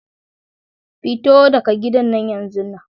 Come out of that house now!